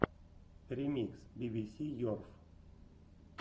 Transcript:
ремикс би би си ерф